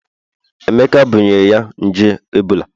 Emeka bunyere ya nje ebola